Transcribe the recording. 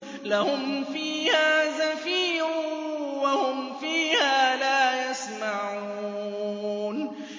لَهُمْ فِيهَا زَفِيرٌ وَهُمْ فِيهَا لَا يَسْمَعُونَ